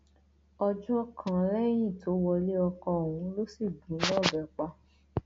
ọjọ kan lẹyìn tó wọlé ọkọ ọhún ló sì gún un lọbẹ pa